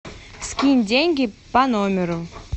скинь деньги по номеру